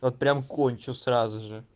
прямо кончу сразу же